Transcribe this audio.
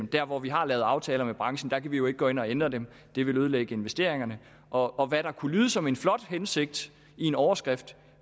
der hvor vi har lavet aftaler med branchen kan vi jo ikke gå ind og ændre dem det ville ødelægge investeringerne og og hvad der kunne lyde som en flot hensigt i en overskrift